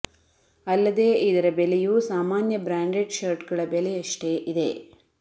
ಅಲ್ಲದೇ ಇದರ ಬೆಲೆಯೂ ಸಾಮಾನ್ಯ ಬ್ರಾಂಡೆಡ್ ಶರ್ಟ್ ಗಳ ಬೆಲೆಯಷ್ಟೆ ಇದೆ